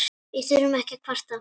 Við þurfum ekki að kvarta.